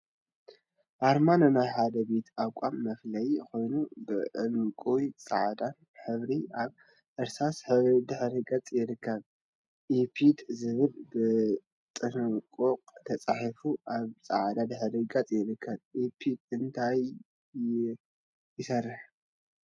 አርማ ንናይ ሓደ ቤት ተቋም መፍለይ ኮይኑ፤ ብዕንቋን ፃዕዳን ሕብሪ አብ እርሳስ ሕብሪ ድሕረ ገፅ ይርከብ፡፡ ኢፕድ ዝብል ብዕንቋይ ተፃሒፉ አብ ፃዕዳ ድሕረ ገፅ ይርከብ፡፡ ኢፕድ እንታይ ይሰርሕ?